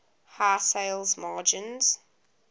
high sales margins